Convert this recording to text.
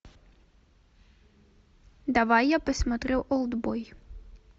давай я посмотрю олдбой